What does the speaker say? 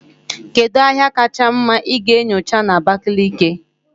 Kedu ahịa kacha mma ị ga-enyocha na Abakaliki?